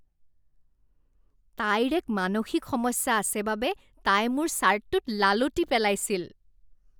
তাইৰ এক মানসিক সমস্যা আছে বাবে তাই মোৰ ছাৰ্টটোত লালটি পেলাইছিল।